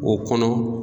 O kɔnɔ